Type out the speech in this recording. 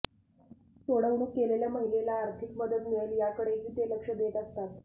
साेडवणूक केलेल्या महिलेला अार्थिक मदत मिळेल याकडेही ते लक्ष देत असतात